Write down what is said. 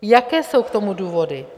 Jaké jsou k tomu důvody?